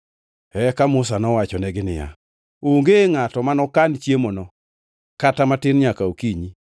Eka Musa nowachonegi niya, “Onge ngʼato manokan chiemono kata matin nyaka okinyi.”